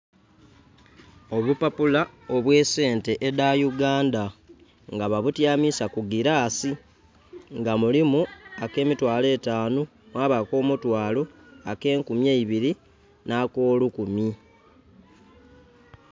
Obupapula obw'esente edha Uganda nga babutyamisa ku girasi nga mulimu ak'emitwalo etanhu, mwaba ak'omutwalo, ak'enkumi eibili n'akolukumi.